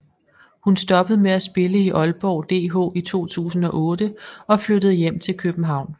Hun stoppede med at spille i Aalborg DH i 2008 og flyttede hjem til København